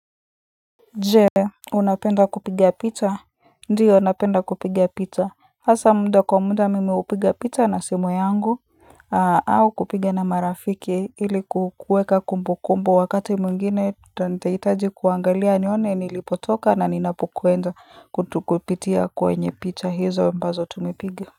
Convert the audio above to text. Je unapenda kupigia picha ndiyo napenda kupiga picha hasa muda kwa muda mimi hupiga picha na simu yangu au kupiga na marafiki ili kuweka kumbu kumbu wakati mwingine nitahitaji kuangalia nione nilipotoka na ninapokwenda kupitia kwenye picha hizo ambazo tumepiga.